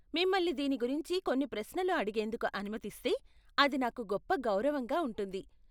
మిమ్మల్ని దీని గురించి కొన్ని ప్రశ్నలు అడిగేందుకు అనుమతిస్తే, అది నాకు గొప్ప గౌరవంగా ఉంటుంది.